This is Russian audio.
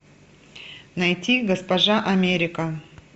найти госпожа америка